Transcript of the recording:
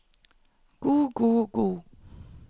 god god god